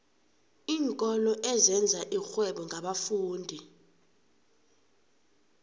iinkolo ezenza irhwebo ngabafundi